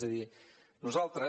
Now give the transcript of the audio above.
és a dir nosaltres